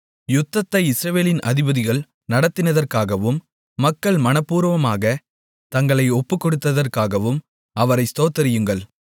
யுத்தத்தை இஸ்ரவேலின் அதிபதிகள் நடத்தினதற்காகவும் மக்கள் மனப்பூர்வமாகத் தங்களை ஒப்புக்கொடுத்ததற்காகவும் அவரை ஸ்தோத்திரியுங்கள்